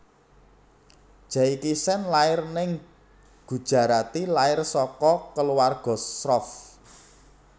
Jaikishen lair ning Gujarati lair saka kaluwarga Shroff